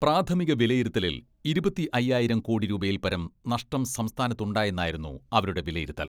പ്രാഥമിക വിലയിരുത്തലിൽ ഇരുപത്തി അയ്യായിരം കോടി രൂപയിൽ പരം നഷ്ട സംസ്ഥാനത്തുണ്ടായെന്നായിരുന്നു അവരുടെ വിലയിരുത്തൽ.